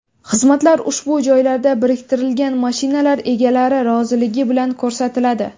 Xizmatlar ushbu joylarga biriktirilgan mashinalar egalari roziligi bilan ko‘rsatiladi.